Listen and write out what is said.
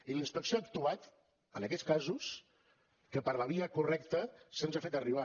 i la inspecció ha actuat en aquests casos que per la via correcta se’ns han fet arribar